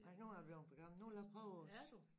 Nej nu er jeg blevet for gammel nu vil jeg prøve også